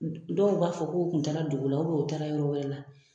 Dɔw b'a fɔ k'u kun taara dugu la u bɛn u taara yɔrɔ wɛrɛ la